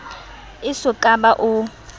e so ka ba o